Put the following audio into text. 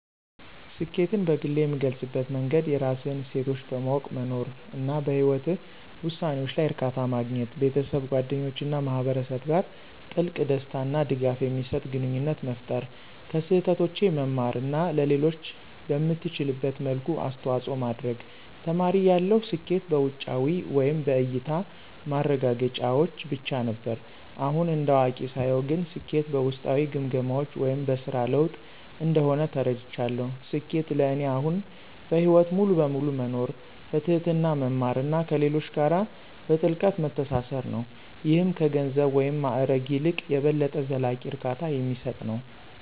ስኬትን በግሌ የምገልፅበት መንገድ የራስህን እሴቶች በማወቅ መኖር፣ እና በህይወትህ ውሳኔዎች ላይ እርካታ ማግኘት። ቤተሰብ፣ ጓደኞች እና ማህበረሰብ ጋር ጥልቅ፣ ደስታ እና ድጋፍ የሚሰጥ ግንኙነት መፍጠር፣ ከስህተቶቼ መማር እና ለሌሎች በምትችልበት መልኩ አስተዋጽኦ ማድረግ። ተማሪ እያለሁ ስኬት በውጫዊ (በእያታ) ማረጋገጫዎች ብቻ ነበር። አሁን እንደ አዋቂ ሳየው ግን ስኬት በውስጣዊ ግምገማዎች (በስራ ለውጥ) እንደሆነ ተረድቻለሁ። ስኬት ለእኔ አሁን በህይወት ሙሉ በሙሉ መኖር፣ በትህትና መማር እና ከሌሎች ጋር በጥልቀት መተሳሰር ነው - ይህም ከገንዘብ ወይም ማዕረግ ይልቅ የበለጠ ዘላቂ እርካታ የሚሰጥ ነው።